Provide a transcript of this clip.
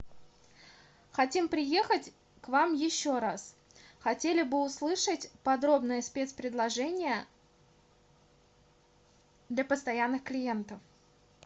хотим приехать к вам еще раз хотели бы услышать подробное спецпредложение для постоянных клиентов